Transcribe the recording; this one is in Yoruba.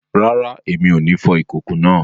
Rara, Èmi o ní fò ikoko náà